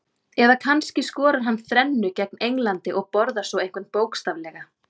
Eða kannski skorar hann þrennu gegn Englandi og borðar svo einhvern bókstaflega?